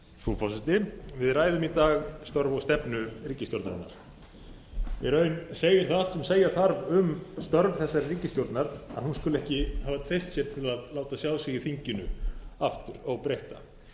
frú forseti við ræðum í dag störf og stefnu ríkisstjórnarinnar í raun segir það sem segja þarf um störf þessarar ríkisstjórnar að hún skuli ekki hafa treyst sér til að láta sjá sig í þinginu aftur óbreytta